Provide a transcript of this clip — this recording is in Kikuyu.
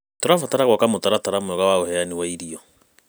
Tũrabatara gwaka mũtaratara mwega wa ũheani wa irio.